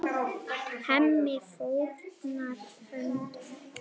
Hemmi fórnar höndum.